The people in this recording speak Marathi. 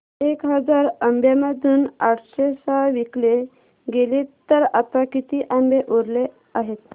एक हजार आंब्यांमधून आठशे सहा विकले गेले तर आता किती आंबे उरले आहेत